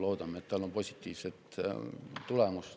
Loodame, et sellel on positiivset tulemust.